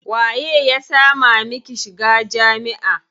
Waye ya sama miki shiga jami'a?